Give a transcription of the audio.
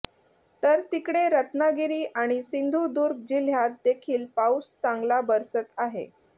तर तिकडे रत्नागिरी आणि सिंधुदुर्ग जिल्ह्यात देखील पाऊस चांगला बरसत आहे